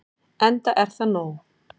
Enda er það nóg.